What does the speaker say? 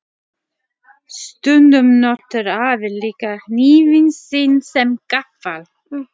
Stundum notar afi líka hnífinn sinn sem gaffal.